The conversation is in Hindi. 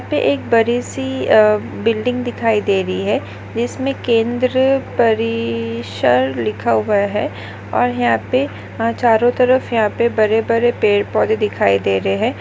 पे एक बडी सी अह बिल्डिंग दिखाई दे रही है जिसमे केंद्र परिसर लिखा हुआ है और यहाँ पे हा चारों तरफ यहाँ पे बड़े बड़े पेड़ पौधे दिखाई दे रहे है।